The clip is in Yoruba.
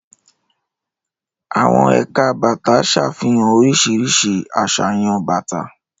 Àwọn ẹ̀ka bàtà ṣàfihàn oríṣiríṣi àṣàyàn bàtà.